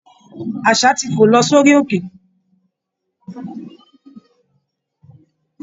Aṣá ti fò lọ sórí òkè